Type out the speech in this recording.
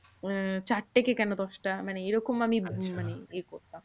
উম চারটে কে কেন দশটা মানে এরকম আমি মানে এ করতাম।